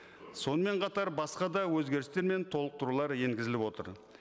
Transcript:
сонымен қатар басқа да өзгерістер мен толықтырулар енгізіліп отыр